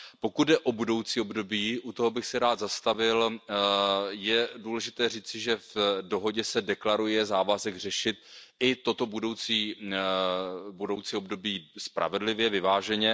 Pokud jde o budoucí období, u toho bych se rád zastavil. Je důležité říci, že v dohodě se deklaruje závazek řešit i toto budoucí období spravedlivě, vyváženě.